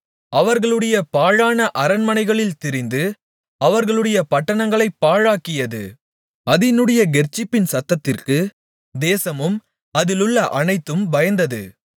அவர்களுடைய பாழான அரண்மனைகளில் திரிந்து அவர்களுடைய பட்டணங்களைப் பாழாக்கியது அதினுடைய கெர்ச்சிப்பின் சத்தத்திற்கு தேசமும் அதிலுள்ள அனைத்தும் பயந்தது